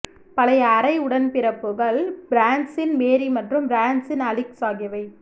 பழைய அரை உடன்பிறப்புகள் பிரான்சின் மேரி மற்றும் பிரான்சின் அலிக்ஸ் ஆகியவை